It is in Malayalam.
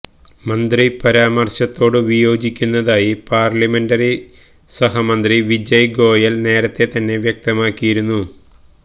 മന്ത്രിയുടെ പരാമര്ശത്തോടു വിയോജിക്കുന്നതായി പാര്ലമെന്ററികാര്യ സഹമന്ത്രി വിജയ് ഗോയല് നേരത്തെ തന്നെ വ്യക്തമാക്കിയിരുന്നു